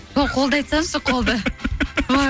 сол қолды айтсаңызшы қолды